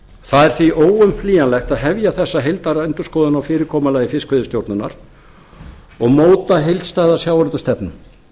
það er því óumflýjanlegt að hefja þessa heildarendurskoðun á fyrirkomulagi fiskveiðistjórnar og móta heildstæða sjávarútvegsstefnu hún